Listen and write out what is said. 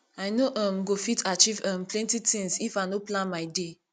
i no um go fit achieve um plenty tins if i no plan my day